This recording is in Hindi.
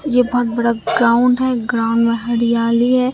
ये बहोत बड़ा ग्राउंड है ग्राउंड में हरियाली है।